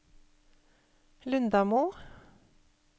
Lundamo